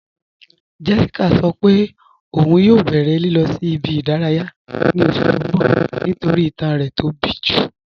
Jéṣíkà sọ́ pẹ̀ ọun yọ̀ bẹ̀rẹ̀ lilọ̀ sí ibi-idaraya ní oṣù tí n bọ̀ nítorí ìtàn rẹ̀ tó bí ju